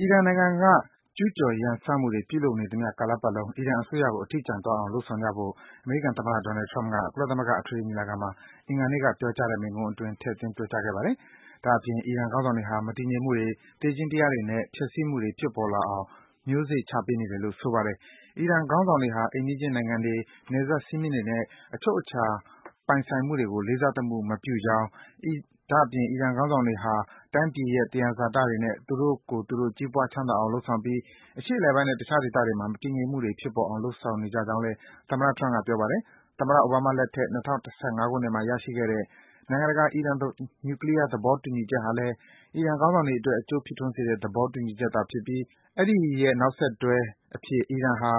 အီရန်နိုင်ငံက ကျူးကျော် ရန်စမှုတွေ ပြုလုပ်နေသမျှကာလပတ်လုံး အီရန်အစိုးရကို အထီးကျန်သွားအောင် လုပ်ဆောင်ကြဖို့ အမေရိကန်သမ္မတ Donald Trump က ကုလသမဂ္ဂ အထွေထွေညီလာခံမှာ အင်္ဂါနေ့က ပြောကြားတဲ့ မိန့်ခွန်းအတွင်း ထည့်သွင်း ပြောကြားခဲ့ပါတယ်။ ဒါ့အပြင် အီရန်ခေါင်းဆောင်တွေဟာ မတည်ငြိမ်မှုတွေ၊ သေခြင်းတရားတွေနဲ့ ဖျက်ဆီးမှုတွေ ဖြစ်ပေါ်လာအောင် မျိုးစေ့ ချပေးနေတယ်လို့ ဆိုပါတယ်။ အီရန်ခေါင်းဆောင်တွေဟာ အိမ်နီးချင်း နိုင်ငံတွေ၊ နယ်စပ် စည်းမျဉ်းတွေနဲ့ အချုပ်အခြာ ပိုင်ဆိုင်မှုတွေကို လေးစားသမှု မပြုကြောင်း၊ ဒါ့အပြင် အီရန် ခေါင်းဆောင်တွေဟာ တိုင်းပြည်ရဲ့ သယံဇာတတွေနဲ့ သူတို့ကိုယ်သူတို့ ကြီးပွား ချမ်းသာအောင် လုပ်ဆောင်ပြီး အရှေ့အလယ်ပိုင်းနဲ့ တခြား ဒေသတွေမှာ မတည်ငြိမ်မှုတွေ ဖြစ်ပေါ်အောင် လုပ်ဆောင်ကြောင်းလည်း သမ္မတ Trump က ပြောပါတယ်။ သမ္မတ အိုဘားမားလက်ထက် ၂၀၁၅ ခုနှစ်မှာ ရရှိခဲ့တဲ့ နိုင်ငံတကာ အီရန် နျူကလီးယား သဘောတူညီချက်ဟာလည်း အီရန်ခေါင်းဆောင်တွေအတွက် အကျိုးဖြစ်ထွန်းစေတဲ့ သေဘာတူညီချက်ဖြစ်ပြီး အဲဒီရဲ့ နောက်ဆက်တွဲအဖြစ် အီရန်ဟာ